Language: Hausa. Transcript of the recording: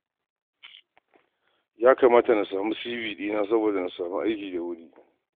Ya kamata na sabunta CV ɗina saboda na samu aiki da wuri.